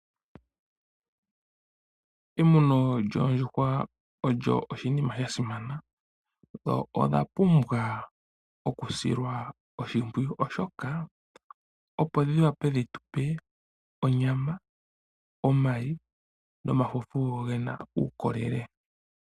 Emuno lyoodjuhwa olyo oshinima shasimana. Oondjuhwa odha pumbwa okusilwa oshimpwiyu, opo dhi wape dhi gandje, onyama, omayi, nomalwenya ge na uukolele.